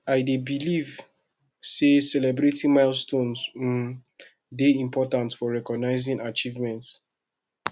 i dey believe say celebrating milestones um dey important for recognizing achievements